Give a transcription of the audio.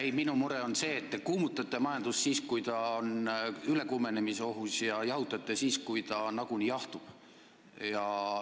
Ei, minu mure on see, et te kuumutate majandust siis, kui ta on ülekuumenemisohus, ja jahutate siis, kui ta nagunii jahtub.